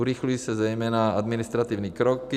Urychlí se zejména administrativní kroky.